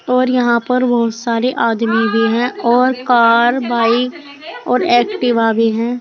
और यहां पर बहुत सारे आदमी भी हैं और कार बाइक और एक्टिवा भी हैं।